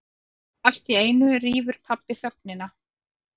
Alltíeinu rýfur pabbi þögnina.